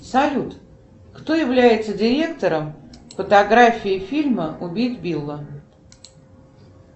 салют кто является директором фотографии фильма убить билла